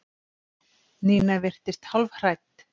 Nína virtist hálfhrædd.